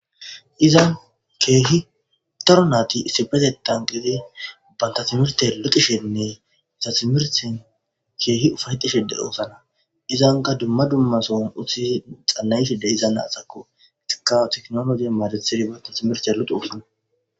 izan keehi daro naati isifetetan gidi banta timerte lotishenne tatimerten keehi ufayxishede osana izanga dumma dumma son utisi xanayhide iza naaxakko ka teknologe maadetsiribata timert aloxosona